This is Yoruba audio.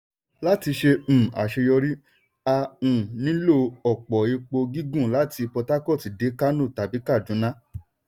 láti ṣe um àṣeyọrí a um nílò òpó epo gígùn láti port harcourt dé kánò tàbí kàdúná.